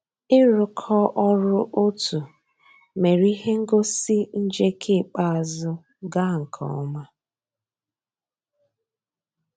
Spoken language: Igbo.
ị́ rụ́kọ̀ ọ́rụ́ ótú mérè íhé ngósì njéké ikpéázụ́ gàà nkè ọ́má.